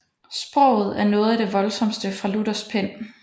Sproget er noget af det voldsomste fra Luthers pen